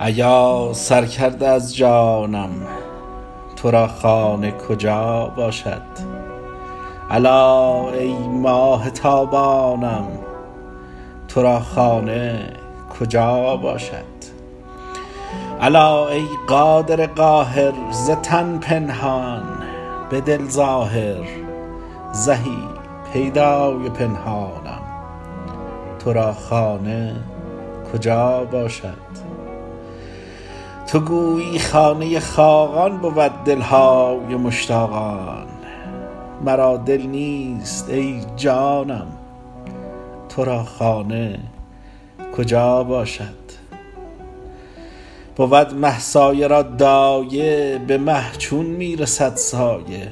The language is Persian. ایا سر کرده از جانم تو را خانه کجا باشد الا ای ماه تابانم تو را خانه کجا باشد الا ای قادر قاهر ز تن پنهان به دل ظاهر زهی پیدای پنهانم تو را خانه کجا باشد تو گویی خانه خاقان بود دل های مشتاقان مرا دل نیست ای جانم تو را خانه کجا باشد بود مه سایه را دایه به مه چون می رسد سایه